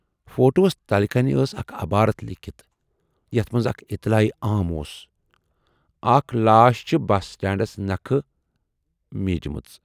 فوٹوہَس تلہٕ کَنہِ ٲس اَکھ عبارتھ لیٖکھِتھ، یَتھ منز اَکھ اطلاعِ عام اوس"اکھ لاش چھِ بس سٹینڈس نکھٕ میٖج مٕژ